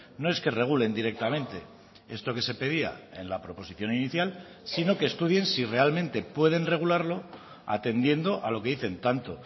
no es que regulen directamente esto que se pedía en la proposición inicial sino que estudien si realmente pueden regularlo atendiendo a lo que dicen tanto